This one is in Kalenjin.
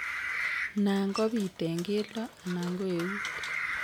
Nan kobitu en keldo anan ko eut